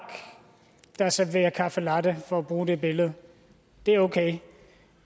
der serverer caffe latte for at bruge det billede er okay